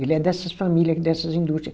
Ele é dessas família, aqui dessas indústria.